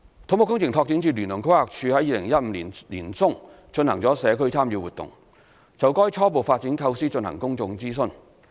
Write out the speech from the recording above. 土木工程拓展署聯同規劃署於2015年年中進行了社區參與活動，就該初步發展構思進行公眾諮詢。